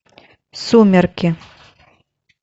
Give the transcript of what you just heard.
сумерки